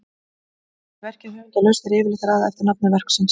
Sé verkið höfundarlaust er yfirleitt raðað eftir nafni verksins.